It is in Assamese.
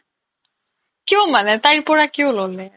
কিয় মানে তাইৰ পৰা কিয় ল'লে ?